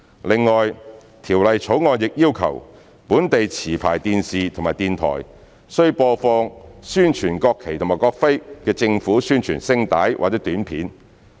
另外，《條例草案》亦要求本地持牌電視及電台，須播放宣傳國旗及國徽的政府宣傳聲帶或短片。